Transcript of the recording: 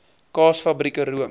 kaas fabrieke room